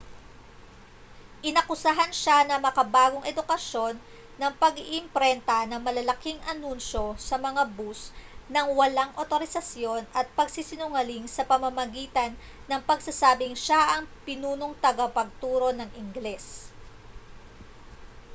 inakusahan siya ng makabagong edukasyon ng pag-iimprenta ng malalaking anunsyo sa mga bus nang walang awtorisasyon at pagsisinungaling sa pamamagitan ng pagsasabing siya ang pinunong tagapagturo ng ingles